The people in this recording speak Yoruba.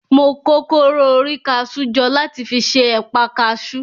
Mo kó kóró orí kaṣú jọ láti fi ṣe ẹ̀pa kaṣú.